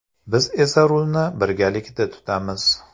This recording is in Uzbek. Biz esa rulni birgalikda tutamiz.